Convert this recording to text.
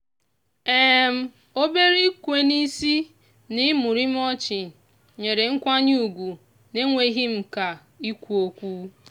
obere ikwe n'isi na imurimu ọchị nyere nkwanye ugwu n'enweghị mka ikwu okwu.